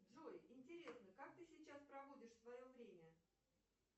джой интересно как ты сейчас проводишь свое время